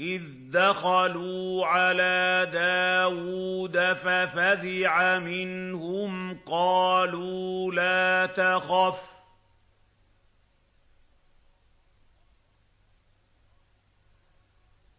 إِذْ دَخَلُوا عَلَىٰ دَاوُودَ فَفَزِعَ مِنْهُمْ ۖ قَالُوا لَا تَخَفْ ۖ